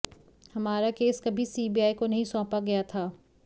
हमारा केस कभी सीबीआई को नहीं सौंपा गया था